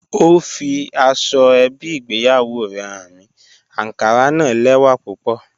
Ọ fí àsọ̀-èbí ìgbéyàwó rè háń mi, ànkárà na lẹ́wà púpọ̀